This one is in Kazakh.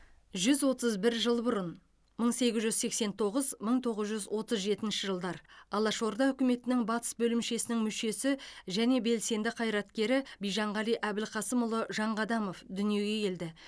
жүз отыз бір жыл бұрынмың сегіз жүз сексен тоғыз мың тоғыз жүз отыз жетінші жылдар алашорда үкіметінің батыс бөлімшесінің мүшесі және белсенді қайраткерібижанғали әбілқасымұлы жанқадамовдүниеге келді